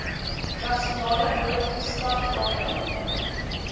nasionale noodtoestand waarin